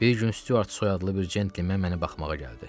Bir gün Stuart soyadlı bir cəntlemen mənə baxmağa gəldi.